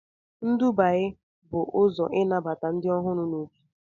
Nduba y bụ ụzọ ịnabata ndị ọhụrụ na otu